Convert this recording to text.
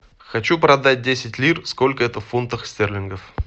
хочу продать десять лир сколько это в фунтах стерлингов